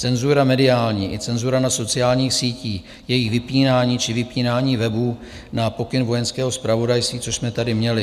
Cenzura mediální i cenzura na sociálních sítích, jejich vypínání či vypínání webů na pokyn Vojenského zpravodajství, což jsme tady měli.